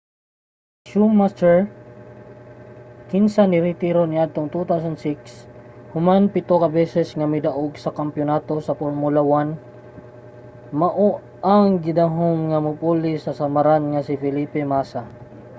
si schumacher kinsa niretiro niadtong 2006 human pito ka beses nga midaog sa kampiyonato sa formula 1 mao ang gidahom nga mopuli sa samaran nga si felipe massa